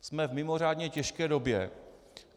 Jsme v mimořádně těžké době.